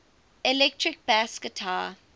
electric bass guitar